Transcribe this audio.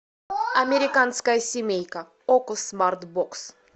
американская семейка окко смарт бокс